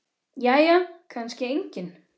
Jæja kannski enginn.